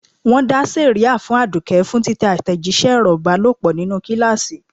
Wọn dá sẹ̀ríà fún Aduke fún títẹ àtẹ̀jíṣẹ́ ọ̀rọ̀ ìbálòpọ̀ nínú kíláàsì.